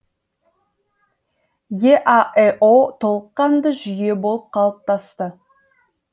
еаэо толыққанды жүйе болып қалыптасты